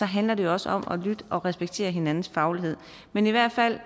handler det jo også om at lytte og respektere hinandens faglighed men i hvert fald